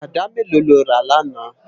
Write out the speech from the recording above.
Àdá méló ló rá làná?